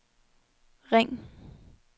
ring